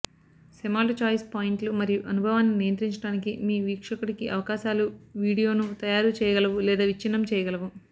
Semalt choice పాయింట్లు మరియు అనుభవాన్ని నియంత్రించడానికి మీ వీక్షకుడికి అవకాశాలు వీడియోను తయారు చేయగలవు లేదా విచ్ఛిన్నం చేయగలవు